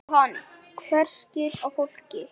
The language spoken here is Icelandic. Jóhann: Einhver slys á fólki?